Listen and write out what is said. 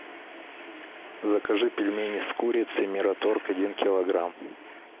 закажи пельмени с курицей мираторг один килограмм